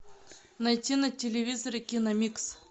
найти на телевизоре киномикс